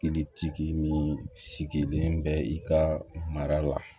Kilitigi min sigilen bɛ i ka mara la